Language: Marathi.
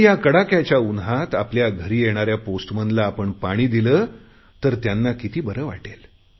पण या कडाक्याच्या उन्हात आपल्या घरी येणाऱ्या पोस्टमनला आपण पाणी दिले तर त्यांना किती बरे वाटेल